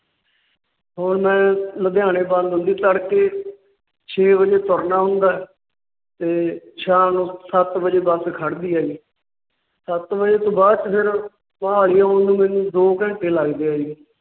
ਹੁਣ ਮੈ ਲੁਧਿਆਣਾ Done ਹੈ ਜੀ। ਤੜਕੇ ਛੇ ਵਜੇ ਤੁਰਨਾ ਹੁੰਦਾ ਹੈ ਤੇ ਸ਼ਾਮ ਨੂੰ ਸੱਤ ਵਜੇ ਬੱਸ ਖੜ੍ਹਦੀ ਹੈ ਜੀ। ਸੱਤ ਵਜੇ ਤੋਂ ਬਾਅਦ ਮੈਨੂੰ ਮੋਹਾਲੀ ਆਉਣ ਨੂੰ ਮੈਨੂੰ ਦੋ ਘੰਟੇ ਲੱਗਦੇ ਹੈ ਜੀ।